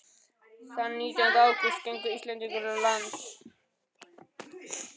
Þann nítjánda ágúst gengu Íslendingarnir á land í